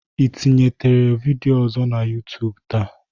Ị tinyete vidịo ọzọ na YuTub taa?